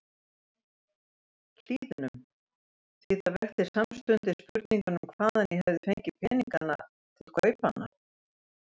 Hlíðunum, því það vekti samstundis spurninguna um hvaðan ég hefði fengið peninga til kaupanna.